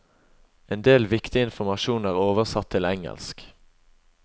En del viktig informasjon er oversatt til engelsk.